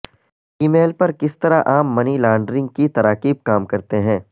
ای میل پر کس طرح عام منی لانڈرنگ کی تراکیب کام کرتے ہیں